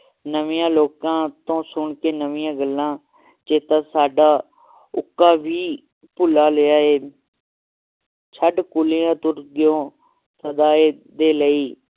ਨਵੀਆਂ ਲੋਕਾਂ ਤੋਂ ਸੁਣਕੇ ਨਵੀਆਂ ਗੱਲਾਂ ਚੇਤਾ ਸਦਾ ਉੱਕਾ ਵੀ ਭੁਲਾ ਲਿਆ ਹੈ ਛੱਡ ਕਲੀਆਂ ਤੁਰ ਗਏ ਹੋ ਹਮੇਸ਼ਾ ਦੇ ਲਈ